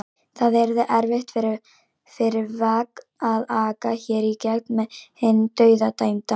Það yrði erfitt fyrir vagn að aka hér í gegn með hinn dauðadæmda.